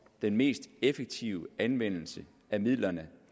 den mest effektive anvendelse af midlerne